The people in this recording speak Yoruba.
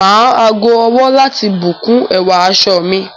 M á ago-ọwọ́ láti bùn kún ẹwà aṣọ mi.